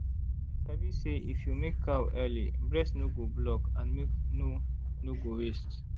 i sabi say if you milk cow early breast no go block and milk no no go waste.